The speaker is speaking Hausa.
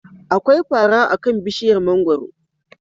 Akwai fara akan bishiyar mangwaro.